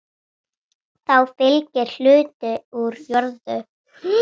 Þá fylgir hluti úr jörðum.